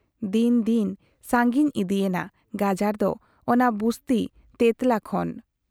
ᱫᱤᱱ ᱫᱤᱱ ᱥᱟᱺᱜᱤᱧ ᱤᱫᱤᱭᱮᱱᱟ ᱜᱟᱡᱟᱲ ᱫᱚ ᱚᱱᱟ ᱵᱩᱥᱛᱤ ᱛᱮᱛᱞᱟ ᱠᱷᱚᱱ ᱾